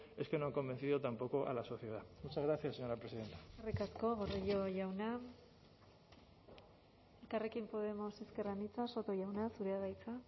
es que no han convencido tampoco a la sociedad muchas gracias señora presidenta eskerrik asko gordillo jauna elkarrekin podemos ezker anitza soto jauna zurea da hitza